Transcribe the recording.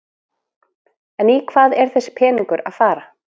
En í hvað er þessi peningur að fara?